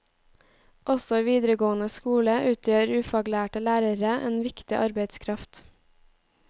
Også i videregående skole utgjør ufaglærte lærere en viktig arbeidskraft.